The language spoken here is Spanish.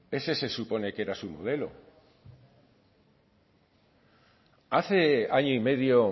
ese se supone que era su modelo hace año y medio